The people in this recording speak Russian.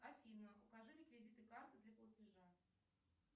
афина укажи реквизиты карты для платежа